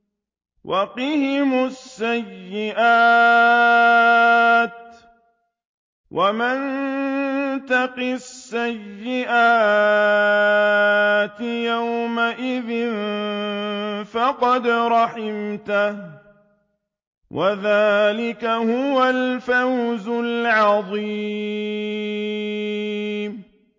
وَقِهِمُ السَّيِّئَاتِ ۚ وَمَن تَقِ السَّيِّئَاتِ يَوْمَئِذٍ فَقَدْ رَحِمْتَهُ ۚ وَذَٰلِكَ هُوَ الْفَوْزُ الْعَظِيمُ